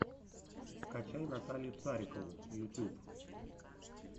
скачай наталью царикову ютьюб